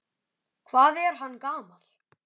Hvað er hann gamall?